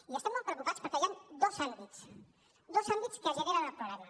i estem molt preocupats perquè hi han dos àmbits dos àmbits que generen el problema